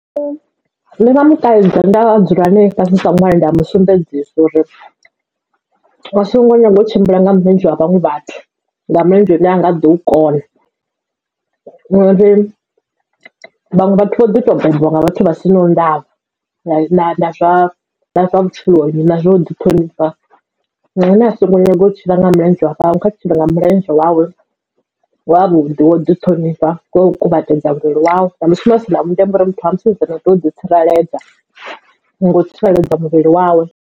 Nṋe ndi nga mukaidza nda dzula nae fhasi sa ṅwana nda musumbedzisa uri asongo nyanga u tshimbila nga milenzhe wa vhaṅwe vhathu nga mulenzhe une hanga ḓo u kona ngauri vhaṅwe vhathu vho ḓi to bebiwa nga vhathu vha si na ndavha na na zwa vhutshiloni na zwo ḓi ṱhonifha zwino ene asongo nyaga u tshila nga mulenzhe wa kha tshile nga mulenzhe wawe wavhuḓi wo ḓi ṱhonifha kho kuvhatedza muvhili wawe nda musumbedzisa na vhundeme uri muthu wa musidzana u sa tea u ḓi tsireledza nga u tsireledza muvhili wawe.